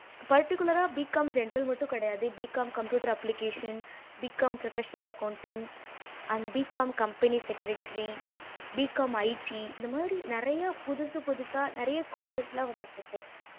particular BCOM general மட்டும் கிடையாது BCOM computer application BCOM professional accounting and BCOM company secertiry BCOMIT இந்த மாறி நெறைய புதுசு புதுசா நெறைய courses எல்லாம் வந்திட்டு இருக்கு